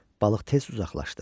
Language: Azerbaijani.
Balıq tez uzaqlaşdı.